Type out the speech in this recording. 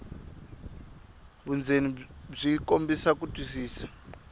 vundzeni byi kombisa ku twisisa